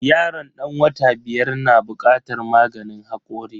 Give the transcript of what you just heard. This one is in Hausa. Yaron dan wata biyar na bukatar maganin hakori.